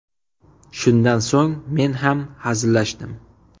Shundan so‘ng men ham hazillashdim.